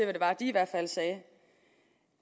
det var de sagde